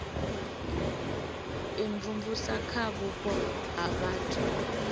imvumvusa kha vhupo ha vhathu